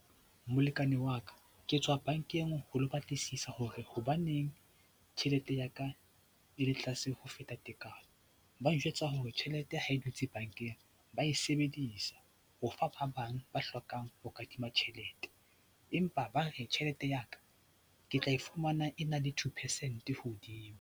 Molekane wa ka, ke tswa bankeng ho lo batlisisa hore hobaneng tjhelete ya ka e le tlaase ho feta tekano. Ba njwetsa hore tjhelete ha e dutse bankeng ba e sebedisa ho fa ba bang ba hlokang ho kadima tjhelete, empa ba re tjhelete ya ka ke tla e fumana e na le two percent hodimo.